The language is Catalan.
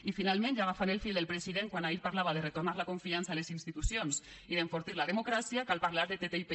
i finalment ja agafant el fil del president quan ahir parlava de retornar la confiança en les institucions i d’enfortir la democràcia cal parlar de ttip